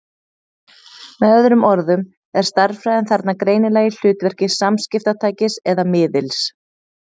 Með öðrum orðum er stærðfræðin þarna greinilega í hlutverki samskiptatækis eða-miðils.